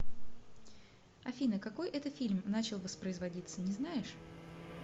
афина какой это фильм начал воспроизводиться не знаешь